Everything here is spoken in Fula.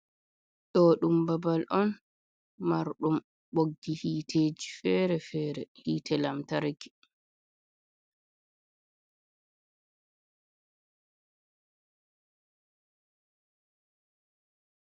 Ɗo ɗum babal on marɗum ɓoggi hiteji fere-fere, hite lamtarki.